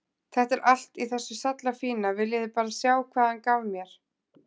Þetta er allt í þessu sallafína, viljiði bara sjá hvað hann gaf mér.